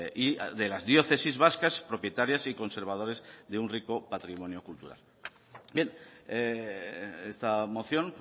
y de las diócesis vascas propietarias y conservadores de un rico patrimonio cultural bien esta moción